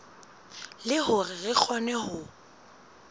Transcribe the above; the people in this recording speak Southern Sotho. le hore re kgone ho